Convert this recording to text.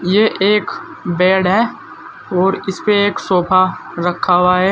ये एक बेड है और इसपे एक सोफा रखा हुआ है।